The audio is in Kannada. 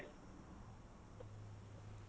.